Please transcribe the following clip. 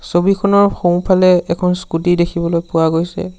ছবিখনৰ সোঁফালে এখন স্কুটি দেখিবলৈ পোৱা গৈছে।